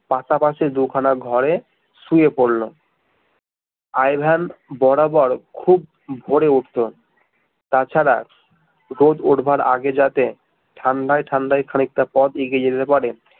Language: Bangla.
পাশাপাশি দু খানা ঘরে শুয়ে পড়লো আই ভেন বরাবর খুব ভোরে উঠত তাছাড়া রোজ উঠবার আগে যাতে ঠাণ্ডায় ঠাণ্ডায় খানিকটা পথ এগিয়ে যেতে পারে